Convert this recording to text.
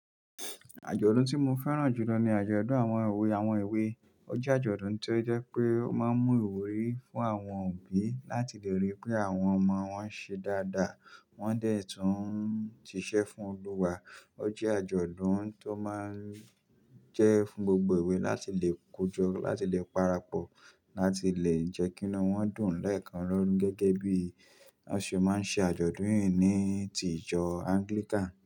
Àjọ̀dún tí mo fẹ́ràn jù lọ ni àjọ̀dún àwọn òwe. Àwọn òwe jẹ́ àjọ̀dún tó jẹ́ pé ó máa ń mú ìwúrí fún àwọn òbí láti lè rí pé àwọn ọmọ wọn ń ṣe dáadáa, wọ́n dẹ̀ tún ń ṣiṣẹ́ fún Olúwa. Ó jẹ́ àjọ̀dún tó máa ń jẹ́ fún gbogbo ìwé láti lè kojú, láti lè parapọ̀, láti lè jẹ́ kí inu wọ́n dùn léèkan lọ gẹ́gẹ́ bí wọ́n ṣe máa ń ṣe àjọ̀dún yìí ní tìjọ́ Anglican.